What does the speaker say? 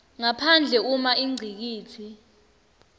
ngaphandle uma ingcikitsi